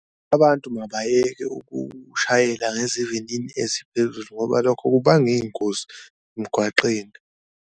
Abantu mabayeke ukushayela ngezivinini eziphezulu ngoba lokho kubanga iy'ngozi emgwaqeni.